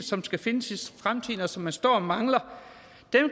som skal findes i fremtiden og som man står og mangler